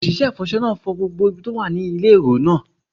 Òṣìṣẹ́ ìfọṣọ náà fọ gbogbo ibi tó wà ní ilé èrò náà